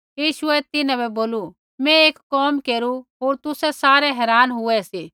यीशुऐ तिन्हां बै बोलू मैं एक कोम केरू होर तुसै सारै हैरान होआ सी